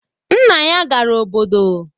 Nna ya gara obodo